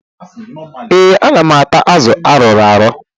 Ee, ana m ata azụ arụrụ arụ.